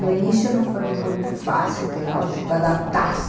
No início não foi muito fácil, que lógico, adaptar-se.